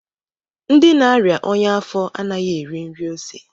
Ndị na-aria ọnya afo anaghị eri nri ose